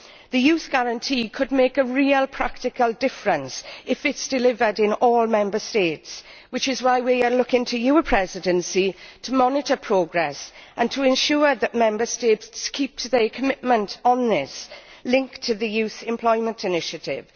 The Youth Guarantee could make a real practical difference if it is delivered in all Member States, which is why we are looking to your Presidency to monitor progress and to ensure that Member States keep to their commitment on this, linked to the Youth Employment Initiative.